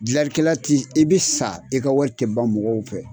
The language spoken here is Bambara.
Dilalikɛla ti i be sa i ka wari tɛ ban mɔgɔw fɛ.